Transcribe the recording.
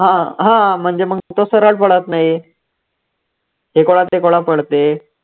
हा हा म्हणजे मग तो सरळ बोलतं नाही पडते.